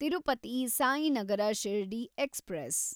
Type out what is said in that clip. Tirupati Sainagar Shirdi express